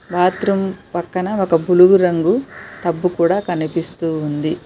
Bathroom పక్కన ఒక బులుగు రంగు టబ్బు కూడా కనిపిస్తూ ఉంది.